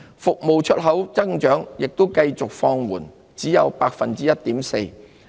服務出口增長也繼續放緩，只有 1.4%。